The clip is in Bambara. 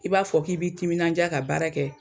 I b'a fɔ k'i b'i timinanja ka baara kɛ